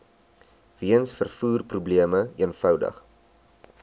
weens vervoerprobleme eenvoudig